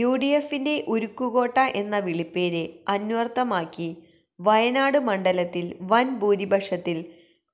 യുഡിഎഫിന്റെ ഉരുക്കുകോട്ട എന്ന വിളിപ്പേര് അന്വർഥമാക്കി വയനാട് മണ്ഡലത്തിൽ വൻ ഭൂരിപക്ഷത്തിൽ